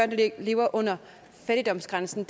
der lever under fattigdomsgrænsen